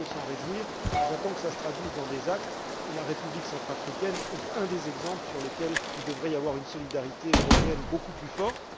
Nous ne pouvons que nous en réjouir, mais j'attends que cela se traduise dans des actes, et la République centrafricaine est un des exemples sur lesquels il devrait y avoir une solidarité européenne beaucoup plus forte.